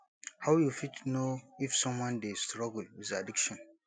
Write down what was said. how you fit know if someone dey struggle with addiction